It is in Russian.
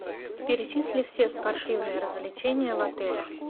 перечисли все спортивные развлечения в отеле